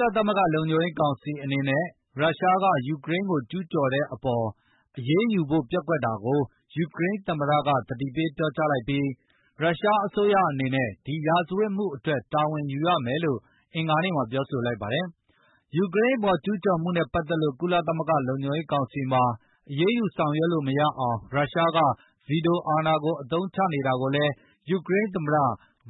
လသမဂ္ဂ လုံခြုံရေးကောင်စီအနေနဲ့ ရုရှားက ယူကရိန်းကို ကျူးကျော်တဲ့အပေါ်အရေး ယူဖို့ပျက်ကွက်တာကို ယူကရိန်းသမ္မတက သတိပေးပြောကြားလိုက်ပြီး၊ ရုရှားအစိုးရအနေနဲ့ ဒီရာဇဝတ်မှုအတွက် တာဝန်ယူရမယ်လို့ အင်္ဂါနေ့မှာ ပြောဆိုလိုက်ပါတယ်။ ယူကရိန်းအပေါ် ကျုးကျော်မှုနဲ့ ပတ်သက်လို့ ကုလသမဂ္ဂ လုံခြုံရေးကောင်စီမှာ အရေးယူဆောင်ရွက်လို့ မရအောင် ရုရှားနိုင်ငံက ဗွီတိုအာဏာကို အသုံးချနေတာကိုလည်း ယူကရိန်းသမ္မတ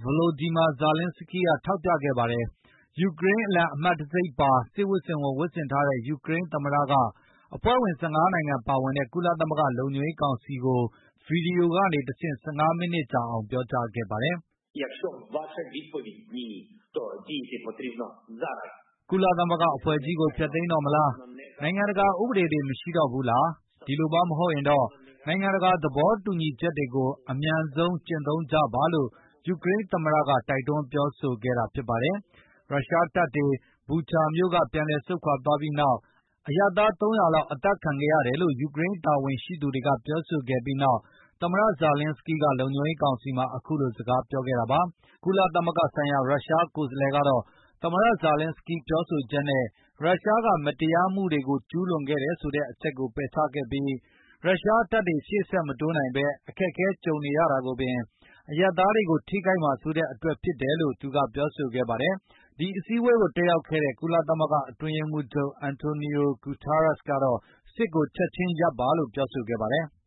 Volodymyr Zelenskyy ကထောက်ပြခဲ့တာပါ။ ယူကရိန်းအလံ အမှတ်တံဆိပ်ပါတဲ့ စစ်ဝတ်စုံဝတ်ဆင်ထားတဲ့ ယူကရိန်းသမ္မတက အဖွဲ့ဝင် ၁၅ နိုင်ငံပါဝင်တဲ့ ကုလသမဂ္ဂလုံခြုံရေးကောင်စီကို ဗွီဒီယိုကနေတဆင့် ၁၅ မီးနစ်ကြာ ပြောကြားခဲ့ပါတယ်။ "ကုလသမဂ္ဂအဖွဲ့ကြီးကို ဖျက်သိမ်းတော့မလား၊ နိုင်ငံတကာ ဥပဒေတွေ မရှိတော့ဘူးလား၊ ဒီလိုမှ မဟုတ်ရင်တော့၊ နိုင်ငံတကာ သဘောတူညီချက်တွေကို အမြန်ဆုံး ကျင့်သုံးကြပါ။" လို့ ယူကရိန်းသမ္မတက တိုက်တွန်းပြောဆိုလိုက်တာပါ။ ရုရှားတပ်တွေ Bucha မြို့ကပြန်ဆုတ်သွားပြီးနောက်၊ အရပ်သား ၃၀၀ လောက် အသတ်ခံခဲ့ရတယ်လို့ ယူကရိန်း တာဝန်ရှိသူတွေက ပြောဆိုခဲ့ပြီးနောက် သမ္မတ Volodymyr Zelenskyy က လုံခြုံရေးကောင်စီမှာ အခုလိုစကားပြောခဲ့တာပါ။ ကုလသမဂ္ဂဆိုင်ရာ ရုရှားကိုယ်စားလှယ်ကတော့ သမ္မတ Volodymyr Zelenskyy ပြောဆိုချက်နဲ ရုရှားက မတရားမှုတွေကိုကျူးလွန်ခဲ့တယ်တဲ့ အချက်ကိုပယ်ချခဲ့ပြီး၊ ရုရှားတပ်တွေရှေ့ဆက်မတိုးနိုင်ပဲ အခက်အခဲကြုံနေရတာကိုပင်၊ အရပ်သားတွေကို ထိခိုက်မှာစိုးတဲ့အတွက်ဖြစ်တယ်လို့ သူကပြောဆိုခဲ့ပါတယ်။ ဒီအစည်းအဝေးကို တက်ရောက်ခဲ့တဲ့ ကုလသမဂ္ဂအတွင်းရေးမှုးချုပ် Antonio Guterres ကတော့ စစ်ကိုချက်ခြင်းရပ်ပါလို့ ပြောဆိုခဲ့ပါတယ်။